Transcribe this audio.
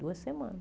Duas semanas.